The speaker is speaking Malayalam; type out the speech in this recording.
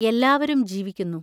എല്ലാവരും ജീവിക്കുന്നു.